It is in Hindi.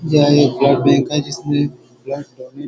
यह एस_बी_आई बैंक है जिसमे--